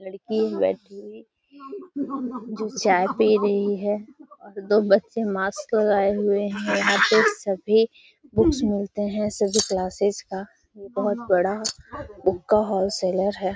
लड़की बैठी हुए जो चाय पी रही है। दो बच्चे मास्क लगाए हुए हैं यहाँ पे सभी बुक्स मिलते हैं। सभी क्लास्सेस का बहोत बढ़ा बुक का व्होल सेलर है।